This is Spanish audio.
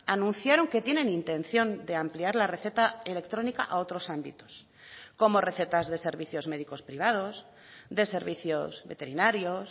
anunciaron que tienen intención de ampliar la receta electrónica a otros ámbitos como recetas de servicios médicos privados de servicios veterinarios